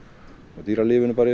og dýralífinu bara